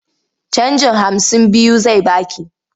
Canjin hamsin biyu zai ba ki.